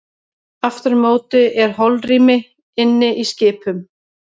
Aftur á móti er holrými inni í skipum.